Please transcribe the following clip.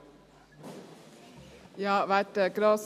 Rückweisung des Gesetzesentwurfs mit folgenden Auflagen: